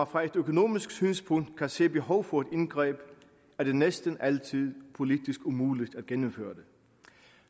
fra et økonomisk synspunkt kan se et behov for et indgreb er det næsten altid politisk umuligt at gennemføre det